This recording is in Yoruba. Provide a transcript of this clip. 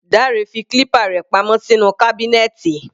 Dare fi clipper rẹ̀ pa mọ́ sínú kábínẹ́tì.